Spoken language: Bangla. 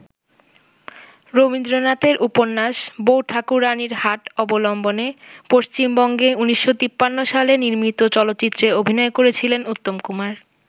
রবীন্দ্রনাথের উপন্যাস ‘বউ ঠাকুরানীর হাট’ অবলম্বনে পশ্চিমবঙ্গে ১৯৫৩ সালে নির্মিত চলচ্চিত্রে অভিনয় করেছিলেন উত্তম কুমার।